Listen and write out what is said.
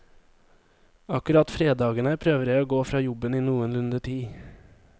Akkurat fredagene prøver jeg å gå fra jobben i noenlunde tid.